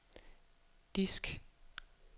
disk